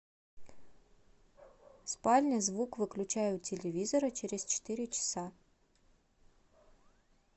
спальня звук выключай у телевизора через четыре часа